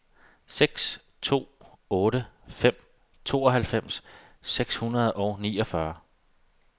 seks to otte fem tooghalvfems seks hundrede og niogfyrre